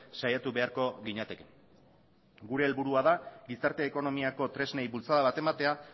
saiatu beharko ginateke gure helburua da gizarte ekonomiako tresnei bultzada bat ematea